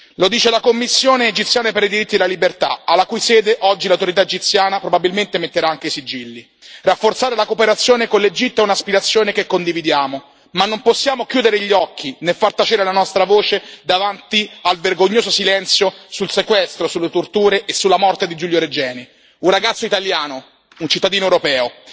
Lo dice la Commissione egiziana per i diritti e la libertà, alla cui sede oggi l'autorità egiziana probabilmente metterà anche i sigilli. Rafforzare la cooperazione con l'Egitto è un'aspirazione che condividiamo ma non possiamo chiudere gli occhi, né far tacere la nostra voce davanti al vergognoso silenzio sul sequestro, sulle torture e sulla morte di Giulio Regeni, un ragazzo italiano, un cittadino europeo.